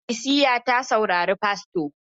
Ikilisiya ta saurari fasto.